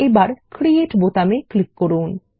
এবার create button click করুন